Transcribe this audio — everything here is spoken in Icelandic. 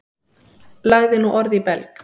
Lagði nú orð í belg.